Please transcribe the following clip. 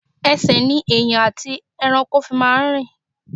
Ẹsẹ̀ ni ènìyàn àti ẹranko máa ń fi ń rin.